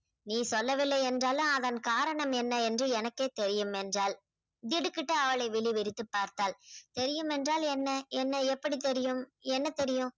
நீ சொல்லவில்லை என்றாலும் அதன் காரணம் என்ன என்று எனக்கே தெரியும் என்றாள். திடுக்கிட்டு அவளை விழிவிரித்து பார்த்தாள். தெரியும் என்றால் என்ன என்ன எப்படி தெரியும்? என்ன தெரியும்?